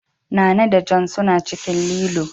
Nana da John suna cikin lilo.